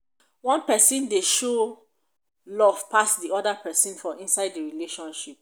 one person dey show love pass di oda person for inside di relationship